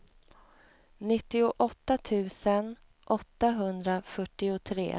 nittioåtta tusen åttahundrafyrtiotre